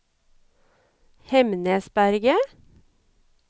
Hemnesberget